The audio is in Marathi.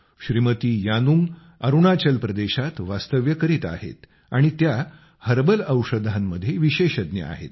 श्रीमती यानुंग अरूणाचल प्रदेशात वास्तव्य करीत आहेत आणि त्या हर्बल औषधांमध्ये विशेषज्ञ आहेत